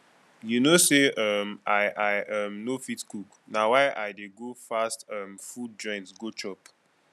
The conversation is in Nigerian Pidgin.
you no say um i i um no fit cook na why i dey go fast um food joint go chop